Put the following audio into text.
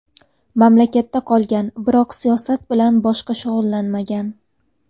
Mamlakatda qolgan, biroq siyosat bilan boshqa shug‘ullanmagan.